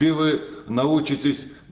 и вы научитесь